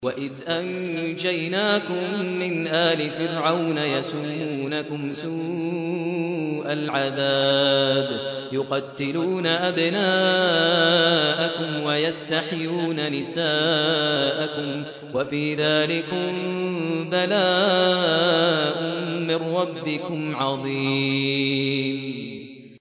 وَإِذْ أَنجَيْنَاكُم مِّنْ آلِ فِرْعَوْنَ يَسُومُونَكُمْ سُوءَ الْعَذَابِ ۖ يُقَتِّلُونَ أَبْنَاءَكُمْ وَيَسْتَحْيُونَ نِسَاءَكُمْ ۚ وَفِي ذَٰلِكُم بَلَاءٌ مِّن رَّبِّكُمْ عَظِيمٌ